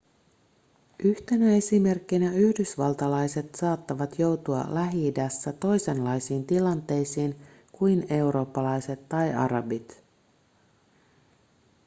yhtenä esimerkkinä yhdysvaltalaiset saattavat joutua lähi-idässä toisenlaisiin tilanteisiin kuin eurooppalaiset tai arabit